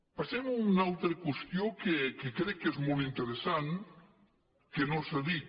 passem a una altra qüestió que crec que és molt interessant que no s’ha dit